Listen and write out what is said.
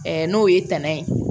n'o ye tɛnɛn ye